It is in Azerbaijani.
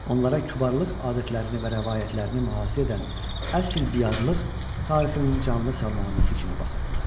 Onlara kütləvilik adətlərini və rəvayətlərini mühafizə edən əsl biyarlıq tarixinin canlı salnaməsi kimi baxırdılar.